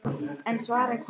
En svarið kom aldrei.